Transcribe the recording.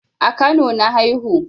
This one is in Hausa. A kano na haihu